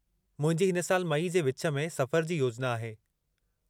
मुंहिंजी हिन साल मई जे विच में सफ़र जी योजना आहे।